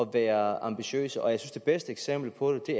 være ambitiøse og jeg synes det bedste eksempel på det